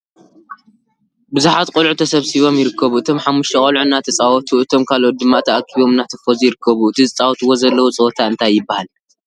ቡዙሓት ቆልዑ ተሰቢሲቦም ይርከቡ። እቶም ሓሙሽተ ቆልዑ እናተታወቱ እቶም ካልኦት ድማ ተአኪቦም እናተፈዙ ይርከቡ። እቲ ዝፃወትዎ ዘለዉ ፀወታ እንታይ ይብሃል?